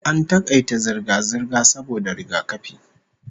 AN takaita zirga-zirga saboda rigakafi